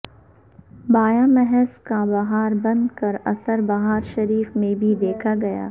بایاں محاظ کا بہار بند کا اثر بہار شریف میں بھی دیکھا گیا